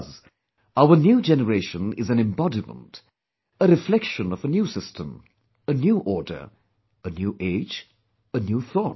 Thus, our new generation is an embodiment, a reflection of a new system, a new order, a new age, a new thought